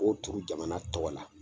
O turu jamana tɔgɔ la.